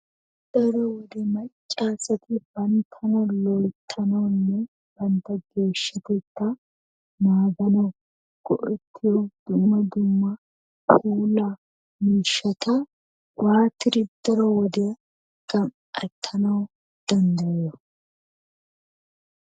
Daro wode macca asati banttna loyttanawunne bantta geeshatetta naaganawu go'ettiyo dumma dumma puulaa miishshata waatidi daro wodiya gam"ettanawu danddayiyoo?